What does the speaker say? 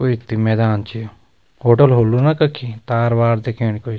कुई त मैदान च होटल होलु न कखी तार वार दिखनी कुई।